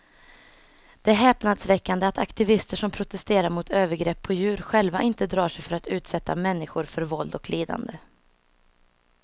Det är häpnadsväckande att aktivister som protesterar mot övergrepp på djur själva inte drar sig för att utsätta människor för våld och lidande.